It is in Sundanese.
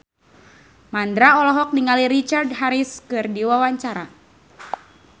Mandra olohok ningali Richard Harris keur diwawancara